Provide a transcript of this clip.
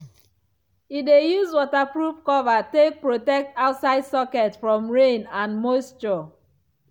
e dey use waterproof cover take protect outside socket from rain and moisture.